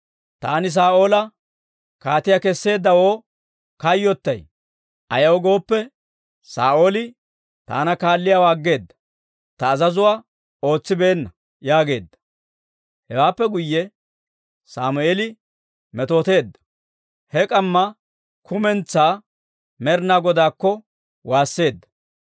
«Taani Saa'oola kaatiyaa kesseeddawoo kayyottay; ayaw gooppe, Saa'ooli taana kaalliyaawaa aggeeda; ta azazuwaa ootsibeenna» yaageedda. Hewaappe guyye Sammeeli metooteedda; he k'amma kumentsaa Med'inaa Godaakko waasseedda.